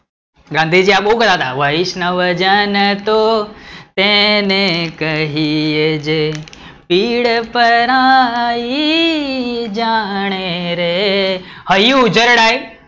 ગાંધીજી આ બોવ બનાવતા વૈષ્ણવજન તો એને કહીયે રે જે પીડ પરાયી જાણે રે, હૈયું ઉજરડાય